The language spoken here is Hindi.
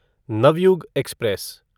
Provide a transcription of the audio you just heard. नवयुग एक्सप्रेस